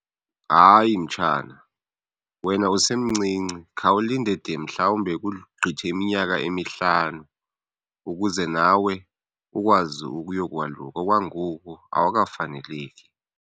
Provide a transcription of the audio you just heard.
Hayi, mtshana wena usemncinci. Khawulinde de mhlawumbe kugqithe iminyaka emihlanu ukuze nawe ukwazi ukuyokwaluka. Okwangoku awukafaneleki.